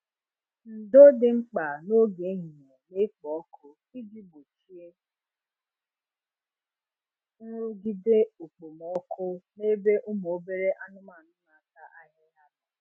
Ndo dị mkpa n'oge ehihie na-ekpo ọkụ iji gbochie nrụgide okpomọkụ n’ebe ụmụ obere anụmanu na-ata ahịhịa nọ